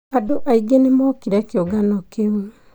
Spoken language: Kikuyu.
Andũ aingĩ nĩmokire kĩũngano kĩu